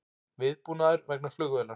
Viðbúnaður vegna flugvélar